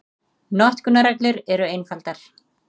Notkunarreglur eru einfaldar.